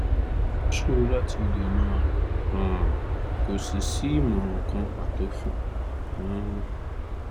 ó ṣòro láti dènà ààrùn um kò sì sí ìmọ̀ràn kan pàtó um